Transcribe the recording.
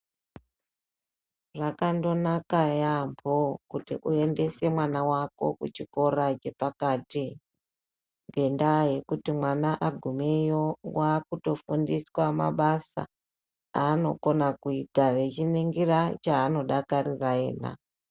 Zvakandonaka yaamho kuti uendese mwana wako kuchikora chepakati ngendaa yekuti mwana agumeyo waakutofundiswa mabasa aanokona kuita echiningira chaanodakarira iyena.